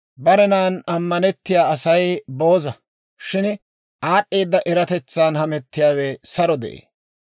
Barenan ammanettiyaa Asay booza; shin aad'd'eeda eratetsan hamettiyaawe saro de'ee.